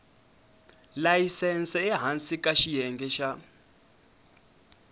layisense ehansi ka xiyenge xa